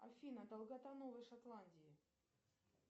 афина долгота новой шотландии